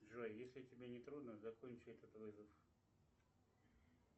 джой если тебе не трудно закончи этот вызов